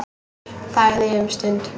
Þagði um stund.